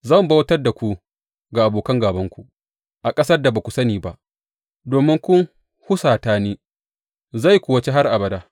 Zan bautar da ku ga abokan gābanku a ƙasar da ba ku sani ba, domin kun husata ni, zai kuwa ci har abada.